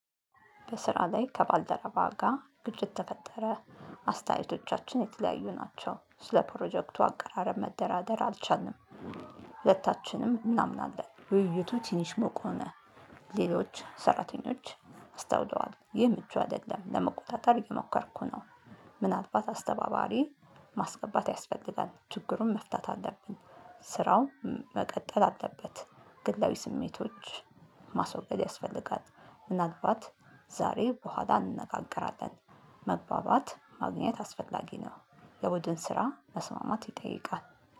በስራ ላይ ከባልደረባ ጋር ግጭት ተፈጠረ። አስተያየቶቻችን የተለያዩ ናቸው ስለ ፕሮጀክቱ አቀራረብ መደራደር አልቻልንም። ሁለታችንም እናምናለን ውይይቱ ትንሽ ሙቅ ሆነ። ሌሎች ሰራተኞች አስታውለዋል ይህ ምቹ አይደለም ለመቆጣጠር የሞከረኩ ነው። ምናልባት አስተባባሪ ማስገባት ያስፈልጋል ችግሩን መፍታት አለብን። ስራው መቀጠል አለበት። ግላዊ ስሜቶች ማስወገድ ያስፈልጋል። ምናልባት ዛሬ በኋላ እንነጋገራለን። መግባባት ማግኘት አስፈላጊ ነው። የቡድን ስራ መስማማት ይጠይቃል።